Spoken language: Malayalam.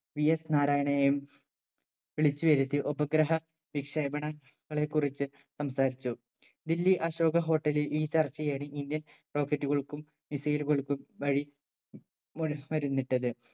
vs നാരായണെയും വിളിച്ചുവരുത്തി ഉപഗ്രഹ വിക്ഷേപണ ങ്ങളെ കുറിച്ച് സംസാരിച്ചു ദില്ലി അശോക hotel ലിൽ ഈ ചർച്ചയേറി indian rocket കൾക്കും missile കൾക്കും വഴി മുനുസ്മരുന്നിട്ടത്